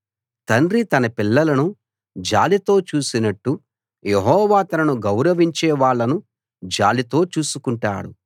తండ్రి తన పిల్లలను జాలితో చూసినట్టు యెహోవా తనను గౌరవించే వాళ్ళను జాలితో చూసుకుంటాడు